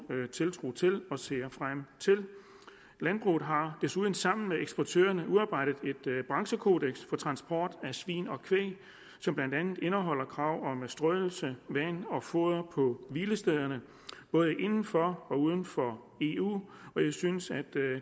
tiltro til og ser frem til landbruget har desuden sammen med eksportørerne udarbejdet et branchekodeks for transport af svin og kvæg som blandt andet indeholder krav om strøelse vand og foder på hvilestederne både inden for og uden for eu og jeg synes at